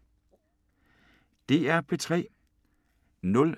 DR P3